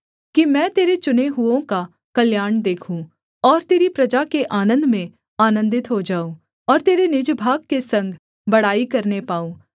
कि मैं तेरे चुने हुओं का कल्याण देखूँ और तेरी प्रजा के आनन्द में आनन्दित हो जाऊँ और तेरे निज भाग के संग बड़ाई करने पाऊँ